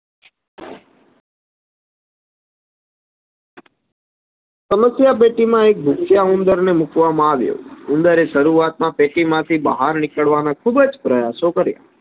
સમસ્યા પેટીમાં એક ઘૂસ્યા ઉંદરને મુકવામાં આવ્યો ઉંદરે શરુઆત પેટીમાંથી બાયર નીકળવા નો ખુબજ પ્રયાસો કાર્ય